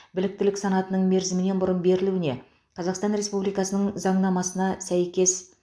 біліктілік санатының мерзімінен бұрын берілуіне қазақстан республикасының заңнамасында сәйкес